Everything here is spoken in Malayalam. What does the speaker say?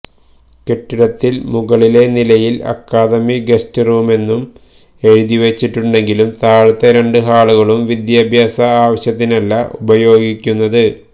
കെട്ടിടത്തില് മുകളിലെ നിലയില് അക്കാദമി ഗസ്റ്റ് റൂമെന്ന് എഴുതിവച്ചിട്ടുണ്ടെങ്കിലും താഴത്തെ രണ്ടു ഹാളുകളും വിദ്യാഭ്യാസ ആവശ്യത്തിനല്ല ഉപയോഗിക്കുന്നത്